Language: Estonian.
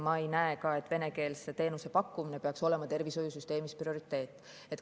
Ma ei näe ka, et venekeelse teenuse pakkumine peaks olema tervishoiusüsteemis prioriteet.